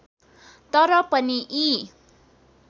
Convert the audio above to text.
तर पनि यी